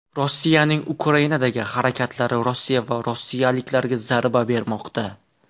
Rossiyaning Ukrainadagi harakatlari Rossiya va rossiyaliklarga zarba bermoqda.